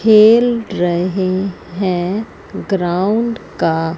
खेल रहे हैं ग्राउंड का--